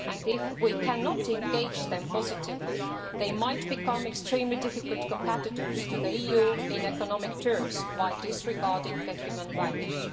If we cannot engage them positively, they might become extremely difficult competitors for the EU in economic terms while disregarding human values.